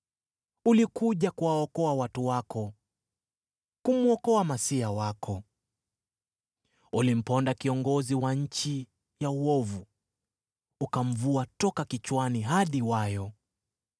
Ulikuja kuwaokoa watu wako, kumwokoa uliyemtia mafuta. Ulimponda kiongozi wa nchi ya uovu, ukamvua toka kichwani hadi wayo.